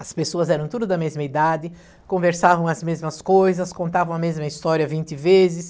As pessoas eram tudo da mesma idade, conversavam as mesmas coisas, contavam a mesma história vinte vezes.